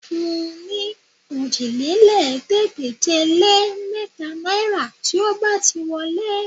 Fún un ní òjìlélẹ́ẹ̀ẹ́dégbèje-lé-mẹ́ta náìrà tí ó bá ti wọlé